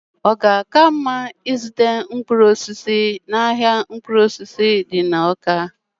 ọ ga-aka mma ịzụta mkpụrụ osisi n'ahịa mkpụrụ osisi dị n'Awka?